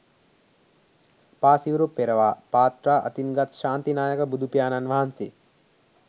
පා සිවුරු පෙරවා පාත්‍රා අතින් ගත් ශාන්ති නායක බුදුපියාණන් වහන්සේ